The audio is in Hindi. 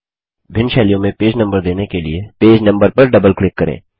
भिन्न शैलियों में पेज नम्बर देने के लिए पेज नंबर पर डबल क्लिक करें